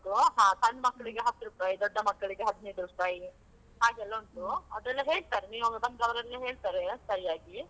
ಹಾ ಸಣ್ಣ ಮಕ್ಳಿಗೆ ಹತ್ತು ರುಪಾಯ್, ದೊಡ್ಡ ಮಕ್ಕಳಿಗೆ ಹದಿನೈದ್ ರುಪಾಯ್ ಹಾಗೆಲ್ಲ ಅದೆಲ್ಲ ಹೇಳ್ತರೆ, ನೀವ್ ಒಮ್ಮೆ ಬಂದ್ರೆ ಅವರೆಲ್ಲಾ ಹೇಳ್ತಾರೆ ಸರಿಯಾಗಿ.